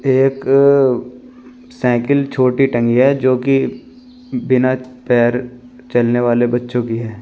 एक साइकिल छोटी टंगी है जो की बिना पैर चलने वाले बच्चों की है।